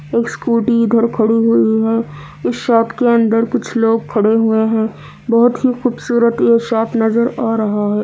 एक स्कूटी इधर खड़ी हुई है इस शॉप के अंदर लोग खड़े हुए है बोहोत ही खूबसूरत ये शॉप नजर आ रहा है।